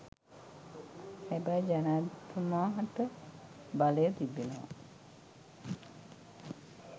හැබැයි ජනාධිපතිතුමාටබලය තිබෙනවා